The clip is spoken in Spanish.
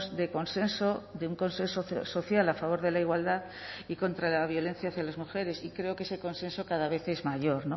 de consenso de un consenso social a favor de la igualdad y contra la violencia hacia las mujeres y creo que ese consenso cada vez es mayor